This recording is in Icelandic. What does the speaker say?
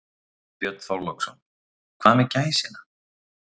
Björn Þorláksson: Hvað með gæsina?